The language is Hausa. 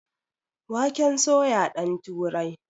Waken soya ɗan turai